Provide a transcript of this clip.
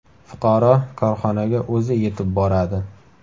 Fuqaro korxonaga o‘zi yetib boradi.